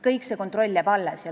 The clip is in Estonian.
Kogu kontroll jääb alles.